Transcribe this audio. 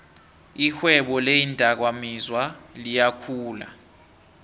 irhwebo leendakamizwa liyakhula